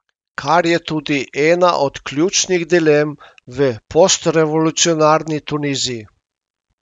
Kar je tudi ena od ključnih dilem v postrevolucionarni Tuniziji.